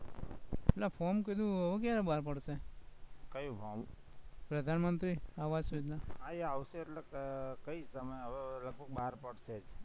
પેલા form હવે ક્યારે બાર પડશે ક્યુ form પ્રધાનમંત્રી આવસ યોજના હા એ આવશે એટલે કઈશ તમે હવે લગભગ બાર પડશે